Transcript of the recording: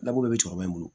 Dabɔ be cɛkɔrɔba in bolo